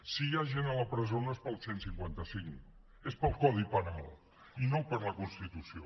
si hi ha gent a la presó no és pel cent i cinquanta cinc és pel codi penal i no per la constitució